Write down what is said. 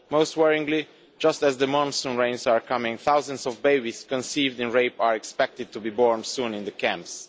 Most worryingly, just as the monsoon rains are coming, thousands of babies conceived in rape are expected to be born soon in the camps.